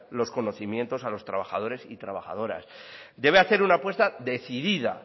los conocimientos a los trabajadores y trabajadoras debe hacer una apuesta decidida